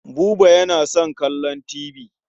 Buba yana son kallon tibi.